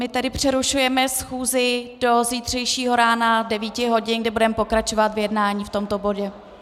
My tedy přerušujeme schůzi do zítřejšího rána 9 hodin, kdy budeme pokračovat v jednání v tomto bodě.